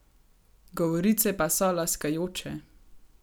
Govorice pa so laskajoče.